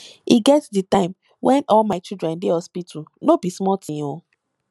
e get di time wen all my children dey hospital no be small tin o